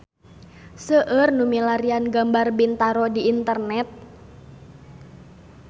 Seueur nu milarian gambar Bintaro di internet